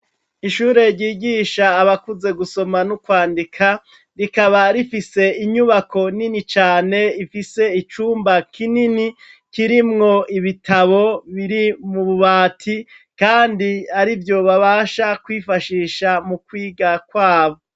Ishure ryigisaha abakuze gusoma no kwandika, rikaba rifise inyubako nini cane ifise icumba kinini kirimwo ibitabo biri mububati kandi arivyo babasha kwifashisha mukwiga kwabo.